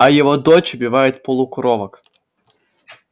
а его дочь убивает полукровок